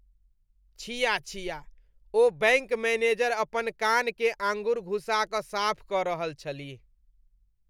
छिया छिया! ओ बैङ्क मैनेजर अपन कानकेँ आँगुर घुसा कऽ साफ कऽ रहल छलीह।